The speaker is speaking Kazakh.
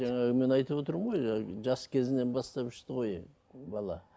жаңағы мен айтып отырмын ғой жаңа жас кезінен бастап ішті ғой бала